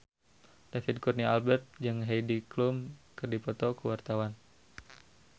David Kurnia Albert jeung Heidi Klum keur dipoto ku wartawan